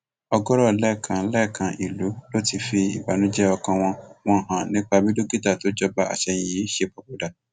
ọgọọrọ lẹẹkan lẹẹkan ìlú ló ti fi ìbànújẹ ọkàn wọn wọn hàn nípa bí dókítà tó jọba àsẹyìn yìí ṣe papòdà